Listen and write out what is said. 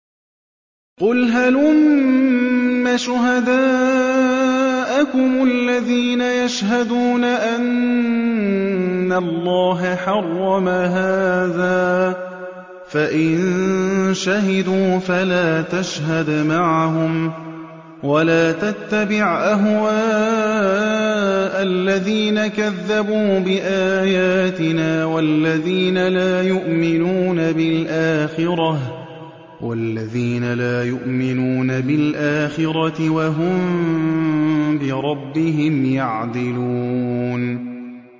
قُلْ هَلُمَّ شُهَدَاءَكُمُ الَّذِينَ يَشْهَدُونَ أَنَّ اللَّهَ حَرَّمَ هَٰذَا ۖ فَإِن شَهِدُوا فَلَا تَشْهَدْ مَعَهُمْ ۚ وَلَا تَتَّبِعْ أَهْوَاءَ الَّذِينَ كَذَّبُوا بِآيَاتِنَا وَالَّذِينَ لَا يُؤْمِنُونَ بِالْآخِرَةِ وَهُم بِرَبِّهِمْ يَعْدِلُونَ